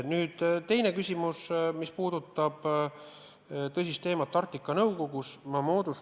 Nüüd teine küsimus, mis puudutab tõsist teemat ehk vaatlejarolli Arktika Nõukogus.